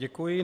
Děkuji.